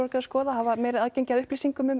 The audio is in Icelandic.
að skoða að hafa meira aðgengi að upplýsingum um